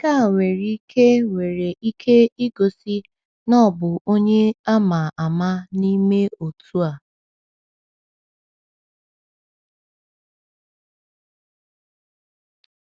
Nke a nwere ike nwere ike igosi na ọ bụ onye ama ama n’ime otu a.